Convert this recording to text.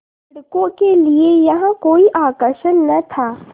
लड़कों के लिए यहाँ कोई आकर्षण न था